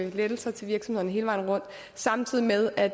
lettelser til virksomhederne hele vejen rundt samtidig med at